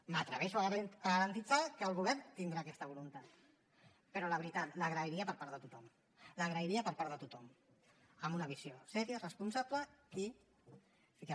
m’atreveixo a garantir que el govern tindrà aquesta voluntat però la veritat l’agrairia per part de tothom l’agrairia per part de tothom amb una visió seriosa responsable i ficar